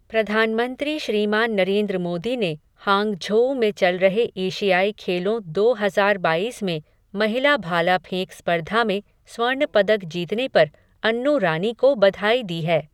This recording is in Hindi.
प्रधानमंत्री श्रीमान नरेन्द्र मोदी ने हांगझोऊ में चल रहे एशियाई खेलों दो हजार बाईस में महिला भाला फेंक स्पर्धा में स्वर्ण पदक जीतने पर अन्नू रानी को बधाई दी है।